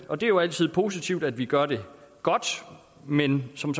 og det er jo altid positivt at vi gør det godt men som